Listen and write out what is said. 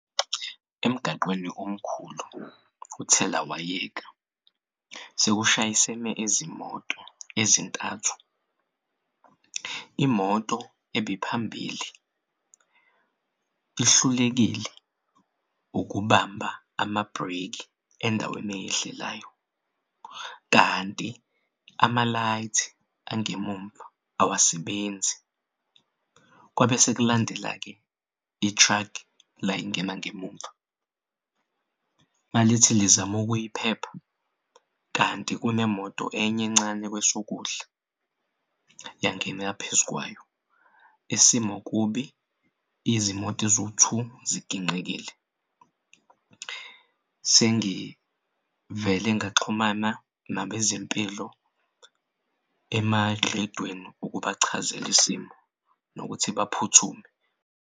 Emgaqweni omkhulu uthelawayeka sekushayisene izimoto ezintathu imoto ebiphambili ihlulekile ukubamba amabhreki endaweni eyehlelayo kanti ama-light angemumva awasebenzi kwabe sekulandela-ke i-truck layingena ngemumva malithi lizamukuyiphepha kanti kunemoto enye encane kwesokudla yangena phezukwayo. Isimo kubi izimoto eziwu-two ziginqikile. Sengivele ngaxhumana nabezempilo emarediyweni ukubachazel'isimo nokuthi baphuthume.